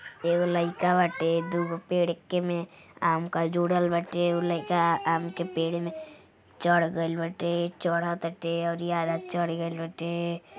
एगो लाईका बाटे दुगो पेड़ के में आम का जुड़ल बाटे। एगो लइका आम के पेड़ में चढ़ गइल बाटे चढटाते अवरी आधा चढ़ गइल बाटे।